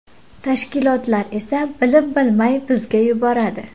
Tashkilotlar esa bilib-bilmay bizga yuboradi.